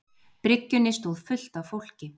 bryggjunni stóð fullt af fólki.